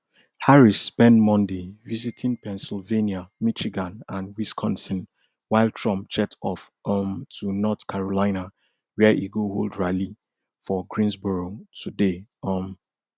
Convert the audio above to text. harris spend monday visiting pennsylvania michigan and wisconsin while trump jet off um to north carolina where e go hold rally for greensboro today um